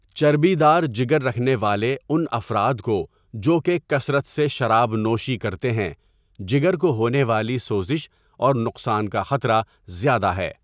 چربی دار جگر رکھنے والے ان افراد کو جو که كثرت سے شراب نوشی کرتے هیں، جگر کو ہونے والی سوزش اور نقصان کا خطره زياده ہے.